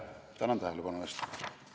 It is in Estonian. Tänan tähelepanu eest!